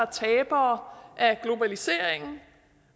tabere af globaliseringen